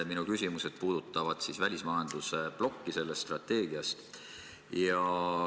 Minu küsimused puudutavad välismajanduse plokki selles strateegias.